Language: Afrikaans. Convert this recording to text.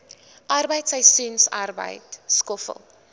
arbeid seisoensarbeid skoffel